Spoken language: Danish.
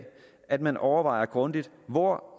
at man overvejer grundigt hvor